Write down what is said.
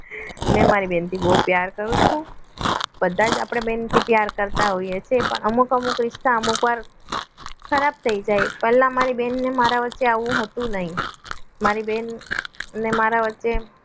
મેં મારી બહેનથી બહુ પ્યાર કરું છું બધા જ આપણે બેન તે પ્યાર કરતા હોઈએ છીએ પણ અમુક અમુક રીત ના અમુક વાર ખરાબ થઈ જાય પહેલા મારી બેન અને મારા વચ્ચે આવું હતું નહીં મારી બેન ને મારા વચ્ચે